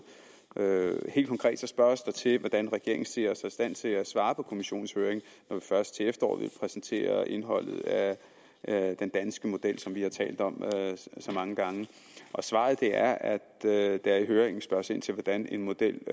helt konkret spørges der til hvordan regeringen ser sig i stand til at svare på kommissionens høring når vi først til efteråret vil præsentere indholdet af den danske model som vi har talt om så mange gange svaret er at der i høringen spørges ind til hvordan en model